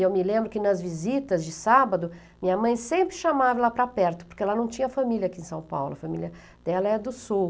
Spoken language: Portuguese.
E eu me lembro que nas visitas de sábado, minha mãe sempre chamava ela para perto, porque ela não tinha família aqui em São Paulo, a família dela é do Sul.